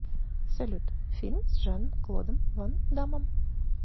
салют фильм с жан клодом ван даммом